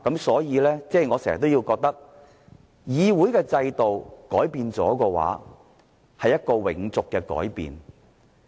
所以，我時常覺得，如果議會的制度改變了，便是一個永續的改變。